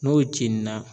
N'o cinna